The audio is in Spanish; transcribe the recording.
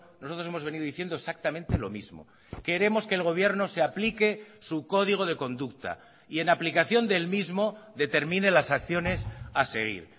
nosotros hemos venido diciendo exactamente lo mismo queremos que el gobierno se aplique su código de conducta y en aplicación del mismo determine las acciones a seguir